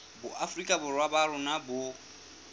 boafrika borwa ba rona bo